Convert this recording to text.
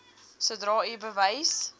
sodra u bewus